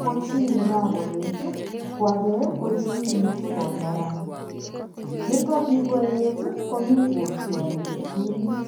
ko chi nekakoeet ko age ko chi ne tago neran. Nito kikoeet komi kotiori kiptulit.